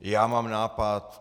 Já mám nápad.